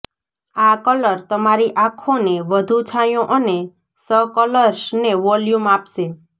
આ કલર તમારી આંખોને વધુ છાંયો અને સ કર્લ્સને વોલ્યુમ આપશે